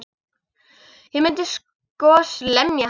Ég myndi sko lemja hann.